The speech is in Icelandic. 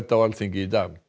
á Alþingi í dag